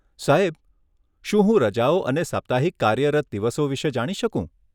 સાહેબ, શું હું રજાઓ અને સાપ્તાહિક કાર્યરત દિવસો વિષે જાણી શકું?